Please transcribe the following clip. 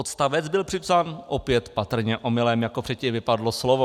Odstavec byl připsán opět patrně omylem, jako předtím vypadlo slovo.